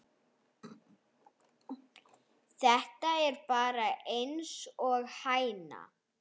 Þú ert bara einsog hæna.